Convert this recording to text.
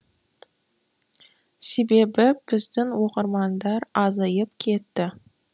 себебі біздің оқырмандар азайып кетті